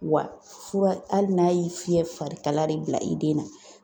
Wa fura hali n'a y'i fiyɛ fari kala de bila i den na.